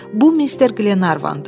Bu mister Qlervandır.